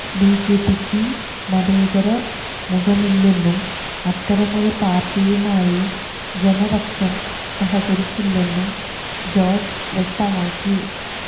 ബിജെപിക്ക് മതേതര മുഖമില്ലെന്നും അത്തരമൊരു പാര്ട്ടിയുമായി ജനപക്ഷം സഹകരിക്കില്ലെന്നും ജോര്ജ് വ്യക്തമാക്കി